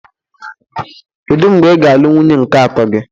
Kedu mgbe ị ga-alụ nwunye nke atọ gị?